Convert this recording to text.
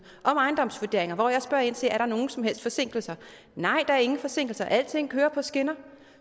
om ejendomsvurderinger hvor jeg spørger ind til er nogen som helst forsinkelser nej der er ingen forsinkelser for alting kører på skinner